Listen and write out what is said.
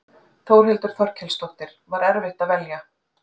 Þórhildur Þorkelsdóttir: Var erfitt að velja?